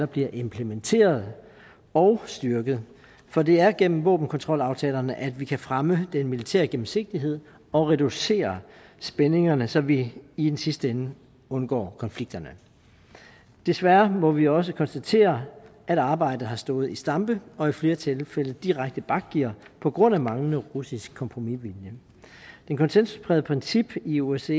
bliver implementeret og styrket for det er gennem våbenkontrolaftalerne vi kan fremme den militære gennemsigtighed og reducere spændingerne så vi i den sidste ende undgår konflikterne desværre må vi også konstatere at arbejdet har stået i stampe og i flere tilfælde direkte bakgear på grund af manglende russisk kompromisvilje det konsensusprægede princip i osce